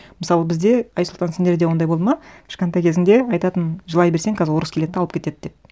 мысалы бізде айсұлтан сендерде ондай болды ма кішкентай кезімде айтатын жылай берсең қазір орыс келеді де алып кетеді деп